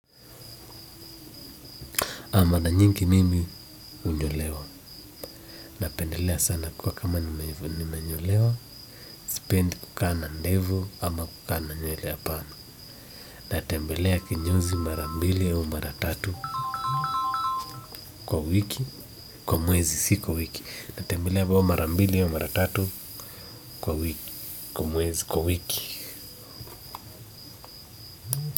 Mara nyingi mimi hunyolewa napendelea sana kuwa kama nimenyolewa sipendi kukaa na ndevu ama kukaa na nywele apana natembelea kinyozi mara mbili au mara tatu kwa wiki kwa mwezi si kwa wiki natembelea mara mbili au mara tatu kwa wiki kwa mwezi kwa wiki.